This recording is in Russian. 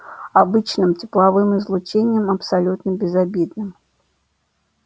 обычным тепловым излучением абсолютно безобидным